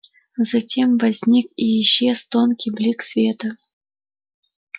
затем возник и исчез тонкий блик света